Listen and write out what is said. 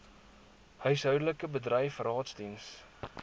huishoudelik bedryf raadsdiens